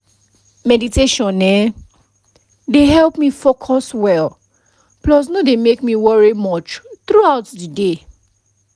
meditation eh dey help me focus well plus no dey make me worry much thruout the day